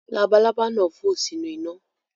Labalaba nà fo sinu ina